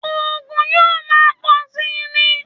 Ògùn yóò máa pọ̀ síi ni